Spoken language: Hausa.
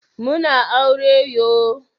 Muna aure yo